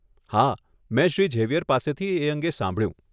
હા, મેં શ્રી ઝેવિયર પાસેથી એ અંગે સાંભળ્યું.